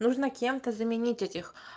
нужно кем-то заменить этих